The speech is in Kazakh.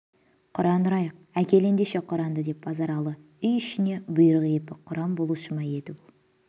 құран ұрайық әкел ендеше құранды деп базаралы үй ішіне бұйрық епі құран болушы ма еді бұл